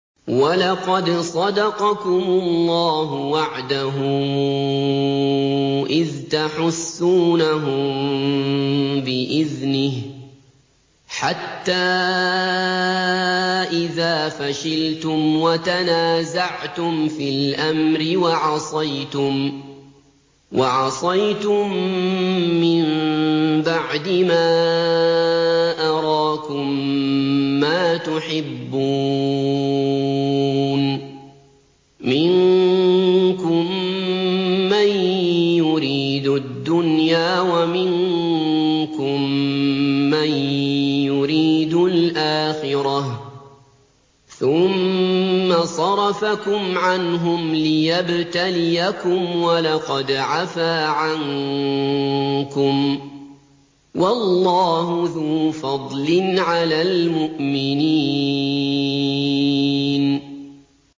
وَلَقَدْ صَدَقَكُمُ اللَّهُ وَعْدَهُ إِذْ تَحُسُّونَهُم بِإِذْنِهِ ۖ حَتَّىٰ إِذَا فَشِلْتُمْ وَتَنَازَعْتُمْ فِي الْأَمْرِ وَعَصَيْتُم مِّن بَعْدِ مَا أَرَاكُم مَّا تُحِبُّونَ ۚ مِنكُم مَّن يُرِيدُ الدُّنْيَا وَمِنكُم مَّن يُرِيدُ الْآخِرَةَ ۚ ثُمَّ صَرَفَكُمْ عَنْهُمْ لِيَبْتَلِيَكُمْ ۖ وَلَقَدْ عَفَا عَنكُمْ ۗ وَاللَّهُ ذُو فَضْلٍ عَلَى الْمُؤْمِنِينَ